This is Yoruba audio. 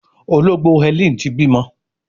Ológbò Helen tí bímọ.